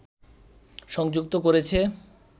সংযুক্ত করেছে